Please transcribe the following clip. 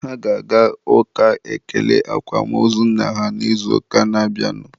Ha ga-aga ụka ekele akwamozu nna ha n'izuụka na-abịanụ